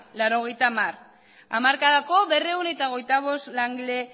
laurogeita hamargarrena hamarkadako berrehun eta hogeita bost